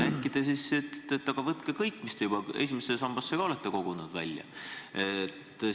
Äkki ütlete, et võtke kõik, mis te juba esimesse sambasse olete kogunud, välja?